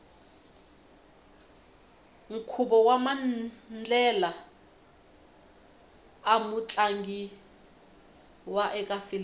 nkhuvo wamandlela amu tlangiwa ekafilimu